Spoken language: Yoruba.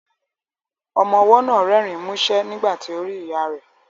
Ọmọ ọwọ́ náà rẹ́rìn músẹ́ nígbà tí ó rí ìyá rẹ̀